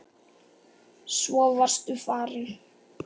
Svo varstu farinn.